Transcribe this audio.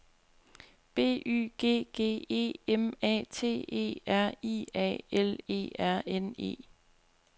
B Y G G E M A T E R I A L E R N E